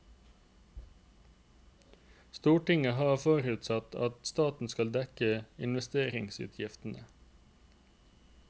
Stortinget har forutsatt at staten skal dekke investeringsutgiftene.